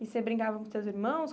E você brincava com seus irmãos?